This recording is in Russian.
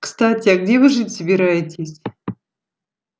кстати а где вы жить собираетесь